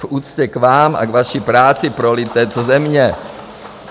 V úctě k vám a k vaší práci pro lid této země.